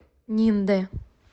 ниндэ